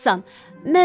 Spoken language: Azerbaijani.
Sən yaxşısan.